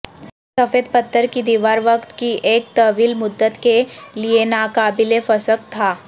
سفید پتھر کی دیوار وقت کی ایک طویل مدت کے لئے ناقابل فسخ تھا